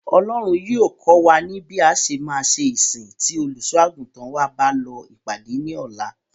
Ọlọ́run yóò kọ́ wa bí a ṣe máa ṣe ìsìn tí Olùṣọ́-àgùntàn wa bá lọ ìpàdé ní ọ̀la.